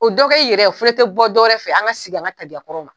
O dɔ kɛ i yɛrɛ ye o fɛnɛ tɛ bɔ dɔwɛrɛ fɛ an ka sein an ka tabiya kɔrɔw ma.